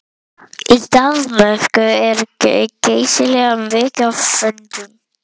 Í Danmörku er geysilega mikið af hundum.